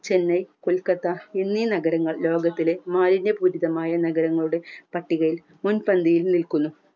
chennai kolkata എന്നി നഗരങ്ങൾ ലോകത്തിലെ മാലിന്യ പൂരിതമായ നഗരങ്ങളുടെ പട്ടികയിൽ മുൻപന്തിയിൽ നിൽക്കുന്നു